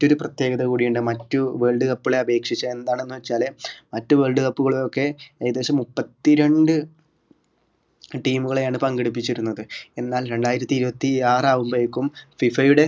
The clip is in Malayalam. മറ്റൊരു പ്രത്യേകത കൂടിയുണ്ട് മറ്റു world cup കളെ അപേക്ഷിച്ച് എന്താണെന്ന് വെച്ചാല് മറ്റ് world cup കളൊക്കെ ഏകദേശം മുപ്പത്തിരണ്ട് team കളെയാണ് പങ്കെടുപ്പിച്ചിരുന്നത് എന്നാൽ രണ്ടായിരത്തി ഇരുപത്തി ആറാകുമ്പോഴേക്കും FIFA യുടെ